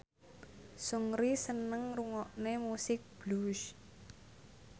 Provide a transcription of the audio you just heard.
Seungri seneng ngrungokne musik blues